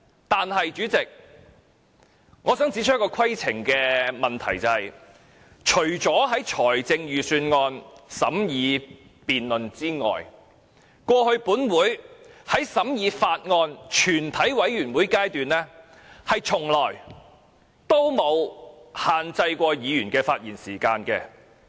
但是，主席，我想指出一個規程問題，除了審議財政預算案的辯論之外，過去本會在全體委會員審議階段，從沒有限制議員的發言時間。